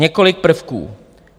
Několik prvků.